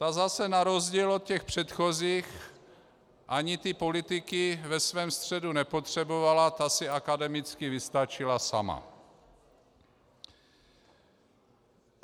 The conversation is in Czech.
Ta zase na rozdíl od těch předchozích ani ty politiky ve svém středu nepotřebovala, ta si akademicky vystačila sama.